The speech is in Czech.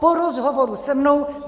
Po rozhovoru se mnou.